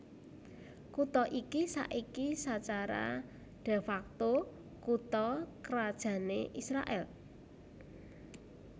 Kutha iki saiki sacara de facto kutha krajané Israèl